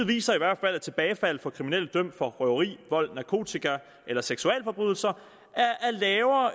viser i hvert fald at tilbagefald af kriminelle dømt for røveri vold narkotika eller seksualforbrydelser